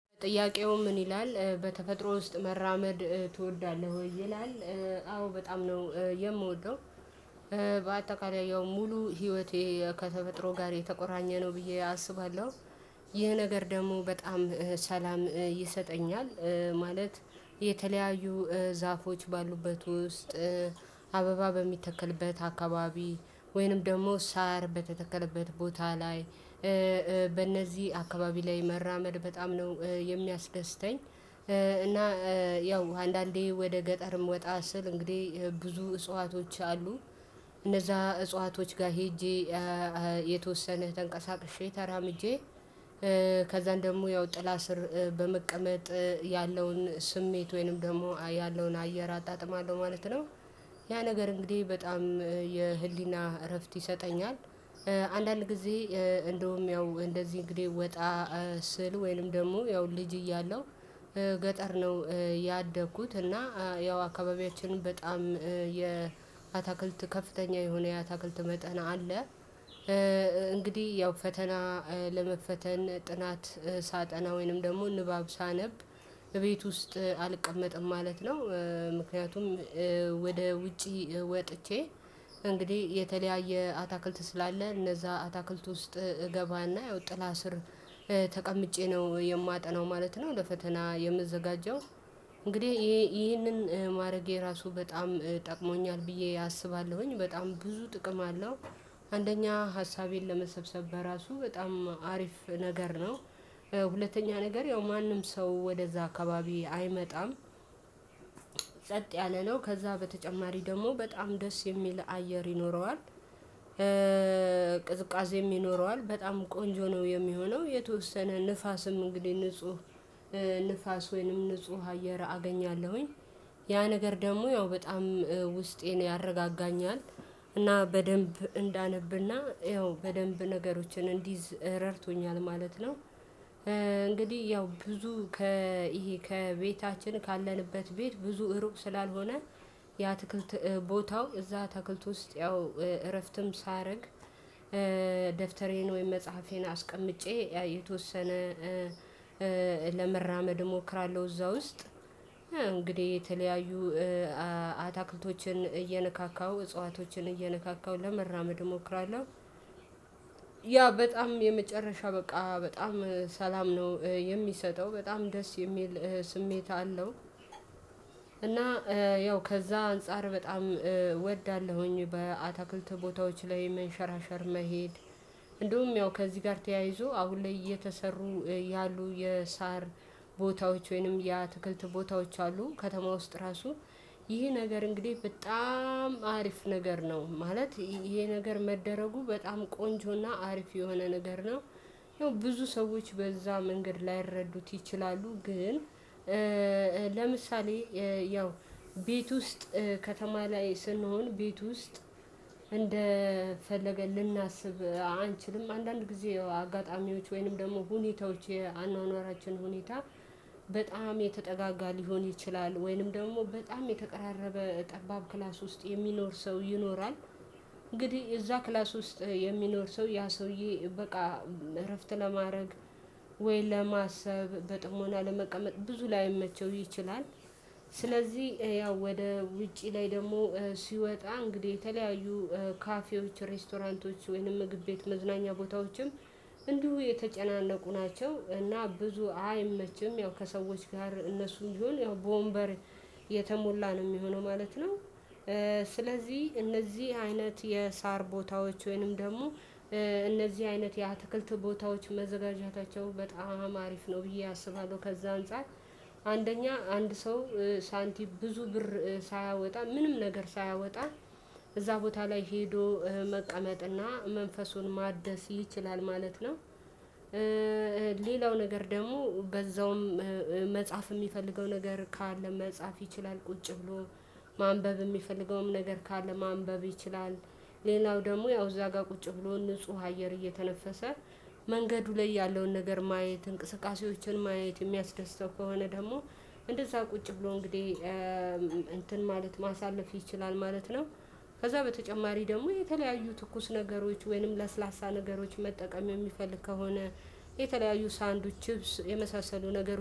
ጥያቄው ምን ይላል በተፈጥሮ ውስጥ መራመድ ትወዳለህ ወይ? ይላል አዎ በጣም ነው የምወደው። በአጠቃላይ ያው ሙሉ ህይወቴ ከተፈጥሮ ጋር የተቆራኘ ነው ብዬ አስባለሁ። ይህ ነገር ደግሞ በጣም ሰላም ይሰጠኛል። ማለት የተለያዩ ዛፎች ባሉበት ውስጥ አበባ በሚተከልበት አካባቢ ወይንም ደግሞ ሳር በተተከለበት ቦታ ላይ። በእነዚህ አካባቢ ላይ መራመድ በጣም ነው የሚያስደስተኝ። እና ያው አንዳንዴ ወደ ገጠርም ወጣ ስል እንግዲህ ብዙ እጽዋቶች አሉ። እነዛ እጽዋቶች ጋር ሄጄ የተወሰነ ተንቀሳቅሼ ተራምጄ። ከዛን ደግሞ ያው ጥላ ስር በመቀመጥ ያለውን ስሜት ወይንም ደግሞ ያለውን አየር አጣጥማለሁ ማለት ነው። ያ ነገር እንግዲህ በጣም የህሊና እረፍት ይሰጠኛል። አንዳንድ ጊዜ እንደውም ያው እንደዚህ እንግዲህ ወጣ ስል ወይንም ደግሞ ያው ልጅ እያለው ገጠር ነው። ያደኩት እና ያው አካባቢያችንን በጣም የአታክልት ከፍተኛ የሆነ የአታክልት መጠን አለ። እንግዲህ ያው ፈተና ለመፈተን ጥናት ሳጠና ወይንም ደግሞ ንባብ ሳነብ እቤት ውስጥ አልቀመጥም ማለት ነው። ምክንያቱም ወደ ውጪ ወጥቼ እንግዲህ የተለያየ አትክልት ስላለ እነዛ አትክልት ውስጥ እገባና ያው ጥላ ስር ተቀምጬ ነው የማጠናው ማለት ነው ለፈተና የምዘጋጀው። እንግዲህ ይሄንን ማረጌ ራሱ በጣም ጠቅሞኛል ብዬ አስባለሁኝ በጣም ብዙ ጥቅም አለው። አንደኛ ሀሳቤን ለመሰብሰብ በራሱ በጣም አሪፍ ነገር ነው። ሁለተኛ ነገር ያው ማንም ሰው ወደዛ አካባቢ አይመጣም። ጸጥ ያለ ነው ከዛ በተጨማሪ ደግሞ በጣም ደስ የሚል አየር ይኖረዋል። ቅዝቃዜም ይኖረዋል በጣም ቆንጆ ነው የሚሆነው የተወሰነ ንፋስም እንግዲህ ንጹህ ንፋስ ወይንም ንጹህ አየር አገኛለሁኝ። ያ ነገር ደግሞ ያው በጣም ውስጤን ያረጋጋኛል። እና በደንብ እንዳነብና ያው በደንብ ነገሮችን እንዲይዝ ረድቶኛል ማለት ነው። እንግዲህ ያው ብዙ ከይሄ ከቤታችን ካለንበት ቤት ብዙ እሩቅ ስላልሆነ የ አትክልት ቦታው እዛ አትክልት ውስጥ ያው እረፍትም ሳያረግ ወይም መጽሐፌን አስቀምጬ ያ የተወሰነ ለመራመድ እሞክራለሁ እዛ ውስጥ እንግዲህ የተለያዩ አትክልቶችን እየነካካው እጽዋቶችን እየነካካው ለመራመድ እሞክራለሁ። ያ በጣም የመጨረሻ በቃ በጣም ሰላም ነው የሚሰጠው በጣም ደስ የሚል ስሜት አለው። እና ያው ከዛ አንፃር በጣም እወዳለሁኝ በአትክልት ቦታዎች ላይ መንሸራሸር መሄድ። እንደውም ያው ከዚህ ጋር ተያይዞ አሁን ላይ እየተሰሩ ያሉ የሳር ቦታዎች ወይንም የአትክልት ቦታዎች አሉ ከተማ ውስጥ ራሱ ይሄ ነገር እንግዲህ በጣም አሪፍ ነገር ነው። ማለት ይሄ ነገር መደረጉ በጣም ቆንጆና አሪፍ የሆነ ነገር ነው። ይሄው ብዙ ሰዎች በዛ መንገድ ላይረዱት ይችላሉ ግን። ለምሳሌ ያው ቤት ውስጥ ከተማ ላይ ስንሆን ቤት ውስጥ እንደፈለግን ልናስብ አንችልም አንዳንድ ጊዜ አጋጣሚዎች ወይንም ደግሞ ሁኔታዎች የአኗኗራችን ሁኔታ በጣም የተጠጋጋ ሊሆን ይችላል ወይንም ደግሞ በጣም የተቀራረበ ጠባብ ክላስ ውስጥ የሚኖር ሰው ይኖራል እንግዲህ እዛ ክላስ ውስጥ የሚኖር ሰው ያ ሰውዬ በቃ እረፍት ለማድረግ ወይ ለማሰብ በጥሞና ለመቀመጥ ብዙ ላይመቸው ይችላል። ስለዚህ ያው ወደ ውጪ ላይ ደግሞ ሲወጣ እንግዲህ የተለያዩ ካፌዎች ሬስቶራንቶች ወይንም ምግብ ቤት መዝናኛ ቦታዎችም እንዲሁ የተጨናነቁ ናቸው እና ብዙ አይመችም ያው ከሰዎች ጋር እነሱን ቢሆን ያው በወንበር የተሞላ ነው የሚሆነው ማለት ነው። ስለዚህ እነዚህ አይነት የሳር ቦታዎች ወይንም ደግሞ እነዚህ አይነት የአትክልት ቦታዎች መዘጋጀታቸው በጣም አሪፍ ነው ብዬ አስባለሁ። ከዛ አንፃር አንደኛ አንድ ሰው ሳንቲም ብዙ ብር ሳያወጣ ምንም ነገር ሳያወጣ እዛ ቦታ ላይ ሄዶ መቀመጥና መንፈሱን ማደስ ይችላል ማለት ነው። ሌላው ነገር ደግሞ በዛውም መጽሐፍ የሚፈልገው ነገር ካለ መጽሐፍ ይችላል ቁጭ ብሎ ማንበብ የሚፈልገውም ነገር ካለ ማንበብ ይችላል። ሌላው ደግሞ ያው እዛ ጋር ቁጭ ብሎ ንጹህ አየር እየተነፈሰ መንገዱ ላይ ያለውን ነገር ማየት እንቅስቃሴዎችን ማየት የሚያስደስተው ከሆነ ደግሞ እንደዛ ቁጭ ብሎ እንግዲህ እንትን ማለት ማሳለፍ ይችላል ማለት ነው። ከዛ በተጨማሪ ደግሞ የተለያዩ ትኩስ ነገሮች ወይንም ለስላሳ ነገሮች መጠቀም የሚፈልግ ከሆነ የተለያዩ ሳንዱች ቺፕስ የመሳሰሉ ነገሮች